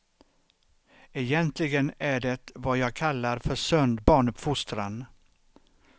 Egentligen är det vad jag kallar för sund barnuppfostran.